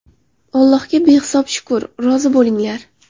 Allohga behisob shukr, rozi bo‘linglar.